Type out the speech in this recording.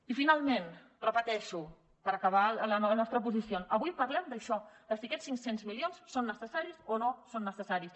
i finalment ho repeteixo per acabar la nostra posició avui parlem d’això de si aquests cinc cents milions són necessaris o no són necessaris